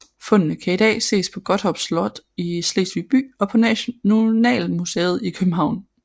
Fundene kan i dag ses på Gottorp Slot i Slesvig By og på Nationalmuseet i København